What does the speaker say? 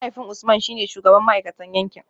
Mahaifin Usman shi ne shugaban ma’aikatan yankin